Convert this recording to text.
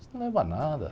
Isso não leva a nada.